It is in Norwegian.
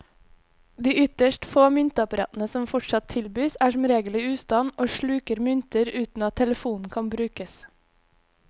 De ytterst få myntapparatene som fortsatt tilbys, er som regel i ustand og sluker mynter uten at telefonen kan brukes.